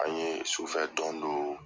An ye sufɛ dɔn do